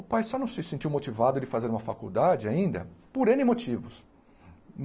Ô pai só não se sentiu motivado de fazer uma faculdade ainda, por êne motivos.